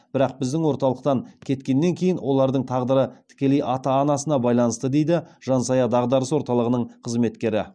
бірақ біздің орталықтан кеткеннен кейін олардың тағдыры тікелей ата анасына байланысты дейді жан сая дағдарыс орталығының қызметкері